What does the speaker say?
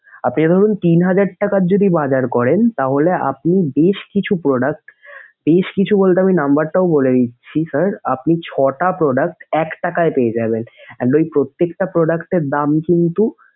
আপনি ধরুন তিন হাজার টাকার যদি বাজার করেন তাহলে আপনি বেশ কিছু product, বেশ কিছু বলতে আমি number টাও বলে দিচ্ছি sir আপনি ছয়টা product এক টাকায় পেয়ে যাবেন। And ওই প্রত্যেকটা product এর দাম কিন্তু।